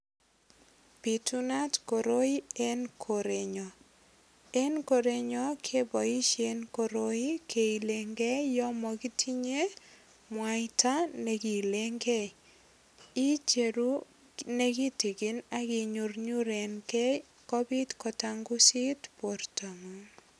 Bitunat koroi en korenyo en korenyo keboishen koroi keilengei yo yo makitinye mwaita nekiilengei icheru nekitikin akinyurnyurengei kobit kotangusit bortong'uk